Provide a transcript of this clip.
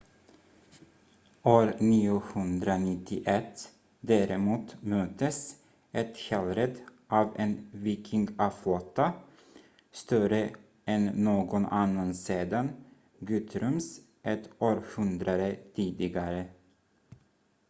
år 991 däremot möttes ethelred av en vikingaflotta större än någon annan sedan guthrums ett århundrade tidigare